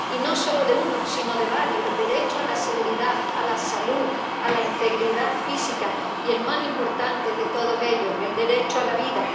Y no solo de uno, sino de varios el derecho a la seguridad, a la salud, a la integridad física, y el más importante de todos ellos, el derecho a la vida.